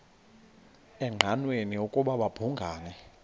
engqanweni ukuba babhungani